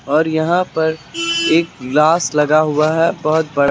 और यहां पर एक गिलास लगा हुआ है बहुत बड़ा।